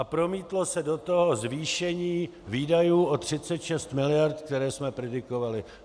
A promítlo se do toho zvýšení výdajů o 36 mld., které jsme predikovali.